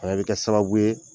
bɛ kɛ sababu ye.